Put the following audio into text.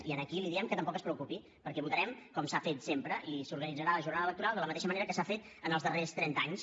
i aquí li diem que tampoc es preocupi perquè votarem com s’ha fet sempre i s’organitzarà la jornada electoral de la mateixa manera que s’ha fet en els darrers trenta anys